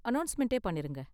அநௌஸ்மெண்ட்டே பண்ணிருங்க.